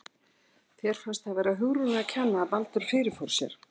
Þér fannst það vera Hugrúnu að kenna að Baldur fyrirfór sér?